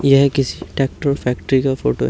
यह किसी tractor factory का फोटो है।